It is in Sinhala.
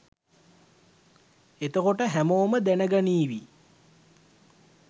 එතකොට හැමෝම දැනගනීවි